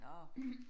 Nåh